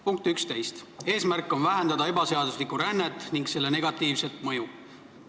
Punkti 11 järgi on eesmärk vähendada ebaseaduslikku rännet ning selle negatiivset mõju.